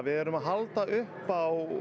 erum að halda upp á